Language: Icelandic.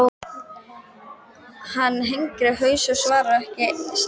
Hann hengir haus og svarar henni ekki strax.